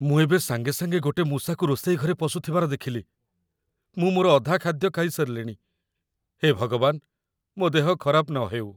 ମୁଁ ଏବେ ସାଙ୍ଗେ ସାଙ୍ଗେ ଗୋଟେ ମୂଷାକୁ ରୋଷେଇ ଘରେ ପଶୁଥିବାର ଦେଖିଲି । ମୁଁ ମୋର ଅଧା ଖାଦ୍ୟ ଖାଇ ସାରିଲିଣି । ହେ ଭଗବାନ, ମୋ' ଦେହ ଖରାପ ନହେଉ ।